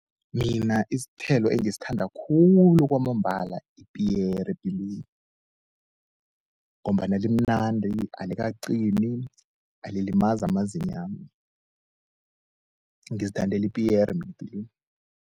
Mina isithelo engisithanda khulu kwamambala yipiyere epilweni ngombana limnandi, alikaqini, alilimazi amazinyo wami. Ngizithandela ipiyere mina epilweni.